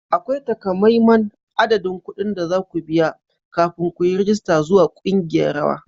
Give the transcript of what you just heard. Akwai takamaiman adadin kuɗin da za ku biya kafin ku yi rajista zuwa ƙungiyar rawa.